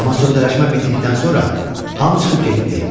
Amma sövdələşmə bitdikdən sonra hamı çıxıb getdi.